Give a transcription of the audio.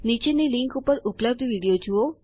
નીચેની લીંક ઉપર ઉપલબ્ધ વિડીયો જુઓ